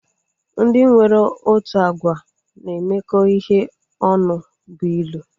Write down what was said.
Ndị nwere otu agwa na-emekọ ihe ọnụ bụ ilu